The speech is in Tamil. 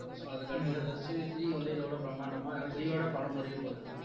so அதுக்கடுத்து எதாச்சு three வந்து இதை வட பிரம்மாண்டமா ஏன்னா three ஓட படம் முடியப்போகுது